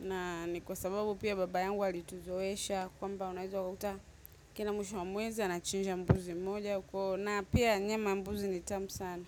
na ni kwa sababu pia baba yangu alituzoesha, kwamba unaezo ukakuta kila mwisho wa mwezi, anachinja mbuzi moja. Na pia nyama ya mbuzi ni tamu sana.